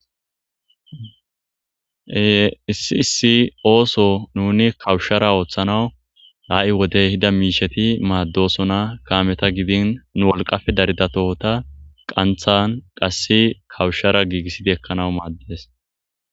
Ee issi issi ooso nuni kawushshara ooththanawu haa7i wodey hida miisheti maaddosona kaameta gidin nu wolqafe daridatota qanthan qass kawushshara giigisside ekkanawu maaddes